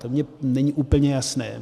To mně není úplně jasné.